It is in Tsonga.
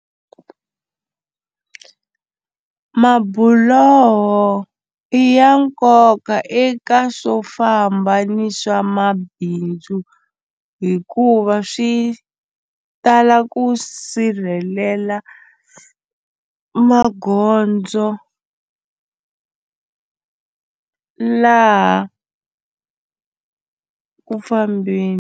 Mabuloho i ya nkoka eka swo famba ni swa mabindzu hikuva swi tala ku sirhelela magondzo laha ku fambeni.